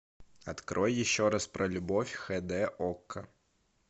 открой еще раз про любовь хд окко